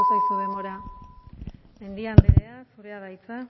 zaizu denbora mendia andrea zurea da hitza